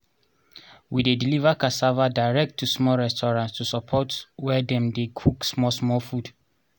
we dey deliver cassava direct to small restaurants to support where dem dey cook small small food